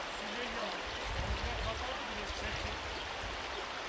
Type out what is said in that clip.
yığışmadı, heç nə gəlmədi, heç nə gəlmədi.